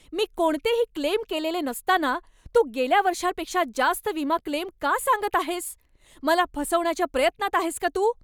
मी कोणतेही क्लेम केलेलेच नसताना तू गेल्या वर्षापेक्षा जास्त विमा क्लेम का सांगत आहेस? मला फसवण्याच्या प्रयत्नात आहेस का तू?